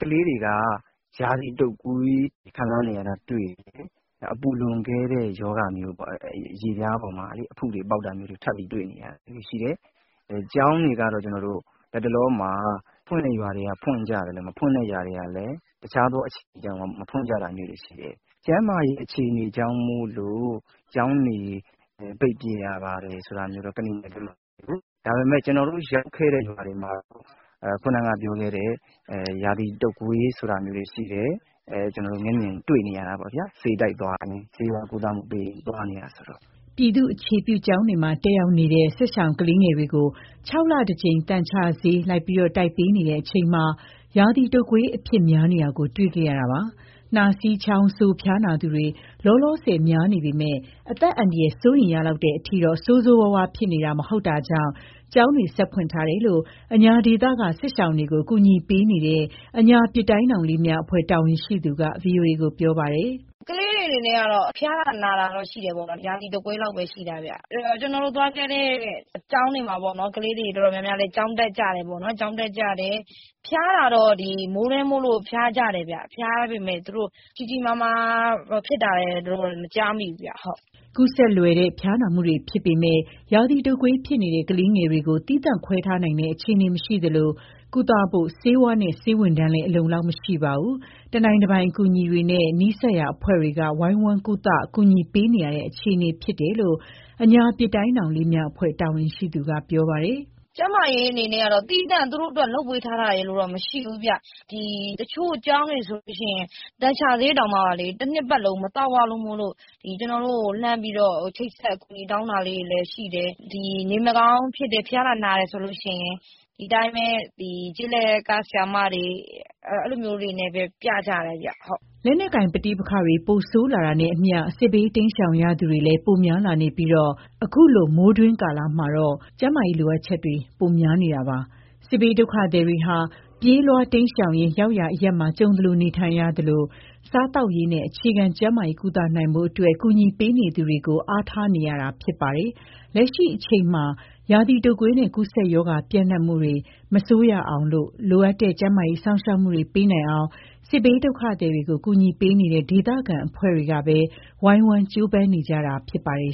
ကလေးတွေက ရာသီတုပ်ကွေး ခံစားနေရတာတွေ့တယ်။ နောက် အပူလွန်ကဲတဲ့ ရောဂါမျိုးပေါ့၊ အရေပြားပေါ်မှာ အဖုတွေပေါက်တာမျိုးတွေ ထပ်ပြီးတွေ့နေရတယ်။ ကျောင်းတွေကတော့ လတ်တလောမှာ ဖွင့်တဲ့ရွာတွေကလည်း ဖွင့်ကြသလို၊ မဖွင့်တဲ့ရွာတွေ ကလည်း တခြားသော အကြောင်းတွေကြောင့် မဖွင့်ကြတာမျိုးတွေ ရှိတယ်။ ကျန်းမာရေး အခြေအနေကြောင့်မို့လို့ ကျောင်းတွေ ပိတ်ပစ်ရပါတယ် ဆိုတာမျိုးတော့ ကနီမှာမရှိဘူး။ ဒါပေမဲ့ ကျနော်တို့ရောက်ခဲ့တဲ့ ရွာတွေမှာတော့ ခုနကပြောခဲ့တဲ့ ရာသီတုပ်ကွေး ဆိုတာမျိုးတွေ ရှိတယ်။ ဆေးဝါးကုသမှုပေးရင်း သွားနေရတာဆိုတော့ ကျနော်တို့ မျက်မြင်တွေ့တာပေါ့ဗျာ။" ပြည်သူ့အခြေပြု ကျောင်းတွေမှာ တက်ရောက်နေတဲ့ စစ်ရှောင်ကလေးငယ်တွေကို ၆ လတကြိမ် သန်ချဆေး လိုက်လံ တိုက်ပေးနေတဲ့ အချိန်မှာ ရာသီ တုပ်ကွေး အဖြစ်များနေတာကို တွေ့ခဲ့ရတာပါ။ နှာစေး၊ ချောင်းဆိုး ဖျားနာသူတွေ လောလောဆယ် များနေပေမဲ့ အသက်အန္တရာယ် စိုးရိမ်ရလောက်တဲ့ အထိတော့ ဆိုးဆိုးရွားရွား ဖြစ်နေတာမျိုးမဟုတ်တာကြောင့် ကျောင်းတွေ လည်း ဆက်ဖွင့်ထားကြတယ်လို့ အညာဒေသက စစ်ရှောင်တွေကို ကူညီပေးနေတဲ့ အညာပစ်တိုင်းထောင်လေးများ အဖွဲ့တာဝန်ရှိသူက ဗွီအိုအေကို ပြောပါတယ်။ "ကလေးတွေ အနေနဲ့ကတော့ ဖျားနာတာတော့ ရှိတယ်ပေါ့နော်။ ရာသီတုပ်ကွေးလောက်ပဲ ရှိတာပေါ့။ အဖွဲ့အနေနဲ့ သွားခဲ့တဲ့ ကျောင်းတွေမှာလည်း ကလေးတွေ တော်တော်များများလည်း ကျောင်းတက်ကြတယ်။ ဖျားတာတော့ မိုးတွင်းမို့လို့ ဖျားကြတယ်။ ဖျားပေမဲ့ ကြီးကြီးမားမား ဖြစ်တာရယ်လို့တော့ မကြားမိဘူး။" ကူးစက်လွယ်တဲ့ ဖျားနာမှုတွေ ဖြစ်ပေမဲ့ ရာသီတုပ်ကွေး ဖြစ်နေတဲ့ ကလေးငယ်တွေကို သီးသန့် ခွဲထားနိုင်တဲ့ အခြေအနေ မရှိသလို၊ ကုသဖို့ ဆေးဝါးနဲ့ ဆေးဝန်ထမ်းတွေလည်း အလုံအလောက် မရှိပါဘူး။ တနိုင်တပိုင်အကူအညီတွေနဲ့ နီးစပ်ရာ အဖွဲ့တွေက ဝိုင်းဝန်း ကုသ ကူညီပေးနေရတဲ့ အခြေအနေ ဖြစ်တယ်လို့လည်း အညာပစ်တိုင်းထောင်လေးများ အဖွဲ့ တာဝန်ရှိသူက ပြောပါတယ်။ "ကျန်းမာရေး အနေနဲ့ကတော့ သူတို့အတွက်သီးသန့် လုပ်ပေးထားတာတော့ မရှိဘူး။ တချို့ကျောင်းတွေဆိုရင် သန်ချဆေးတောင်မှ တနှစ်ပတ်လုံး မသောက်ရလို့ အဖွဲ့ကိုချိတ်ဆက်ပြီး အကူအညီတောင်းတာလည်း ရှိတယ်။ နေမကောင်းဖြစ်တယ်၊ ဖျားနာတယ်ဆိုရင် ဒီအတိုင်းပဲ ကျေးလက်ကဆရာမတွေနဲ့ပဲ ပြကြတယ်။" လက်နက်ကိုင် ပဋိပက္ခတွေ ပိုမို ဆိုးရွားလာတာနဲ့အမျှ စစ်ဘေး တိမ်းရှောင်ရသူတွေလည်း ပိုများလာနေပြီး ခုလို မိုးတွင်းကလာမှာတော့ ကျန်းမာရေး လိုအပ်ချက်တွေ ပိုများလာနေတာပါ။ စစ်ဘေးဒုက္ခသည်တွေဟာ ပြေးလွှားတိမ်းရှောင်ရင်း ရောက်ရာအရပ်မှာ ကြုံသလို နေထိုင်ကြရသလို၊ စားသောက်ရေးနဲ့ အခြေခံကျန်းမာရေး ကုသနိုင်ဖို့အတွက် ကူညီပေးနေသူတွေကိုပဲ အားထားနေရတာ ဖြစ်ပါတယ်။ လက်ရှိအချိန်မှာ ရာသီတုပ်ကွေးနဲ့ ကူးစက်ရောဂါ ပြန့်ပွားမှုတွေ ပိုပြီး မဆိုးရအောင်နဲ့ လိုအပ်တဲ့ ကျန်းမာရေးစောင့်ရှောက်မှုတွေ ပေးနိုင်အောင် စစ်ဘေးဒုက္ခသည်တွေကို ကူညီပေးနေတဲ့ ဒေသခံအဖွဲ့တွေကပဲ ဝိုင်းဝန်းကြိုးပမ်းနေကြတာ ဖြစ်ပါတယ်